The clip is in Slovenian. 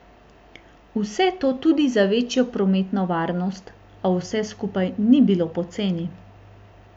Vse to tudi za večjo prometno varnost, a vse skupaj ni bilo poceni.